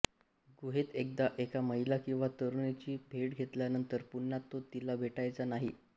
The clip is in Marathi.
गुहेत एकदा एका महिला किंवा तरुणीची भेट घेतल्यानंतर पुन्हा तो तिला भेटायचा नाही